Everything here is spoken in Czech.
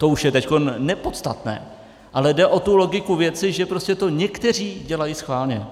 To už je teď nepodstatné, ale jde o tu logiku věci, že prostě to někteří dělají správně.